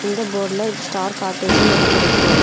இந்த போட்ல ஸ்டார் காட்டேஜ்ன்னு எழுதிருக்கு.